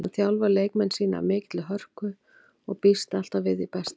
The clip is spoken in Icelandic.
Hann þjálfar leikmenn sína af mikilli hörku og býst alltaf við því besta.